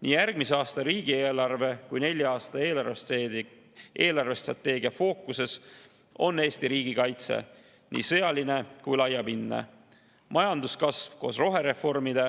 Nii järgmise aasta riigieelarve kui ka nelja aasta eelarvestrateegia fookuses on Eesti riigikaitse, nii sõjaline kui laiapindne, majanduskasv koos rohereformide